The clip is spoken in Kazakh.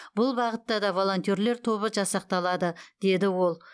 бұл бағытта да волонтерлер тобы жасақталады деді ол